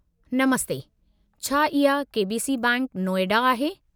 नमस्ते, छा इहा K. B. C. बैंकि, नोएडा आहे?